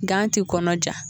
Gan ti kɔnɔ ja